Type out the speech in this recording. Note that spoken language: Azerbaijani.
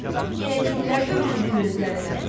Yenə kimlər göründü gözlərinə?